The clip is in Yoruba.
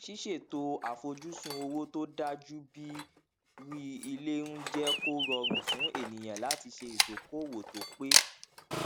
ṣíṣètò àfojúsùn owó tó dájú bíi rí ilé ń jẹ kó rọrùn fún ènìyàn láti ṣe ìdokoowó tó pé